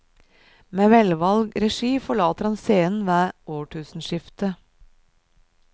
Med velvalgt regi forlater han scenen ved årtusenskiftet.